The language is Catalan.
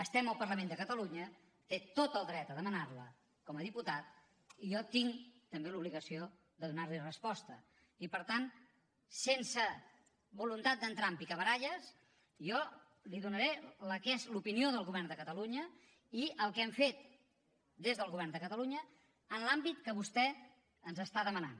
estem al parlament de catalunya té tot el dret de demanarla com a diputat i jo tinc també l’obligació de donarli resposta i per tant sense voluntat d’entrar en picabaralles jo li donaré la que és l’opinió del govern de catalunya i el que hem fet des del govern de catalunya en l’àmbit que vostè ens està demanant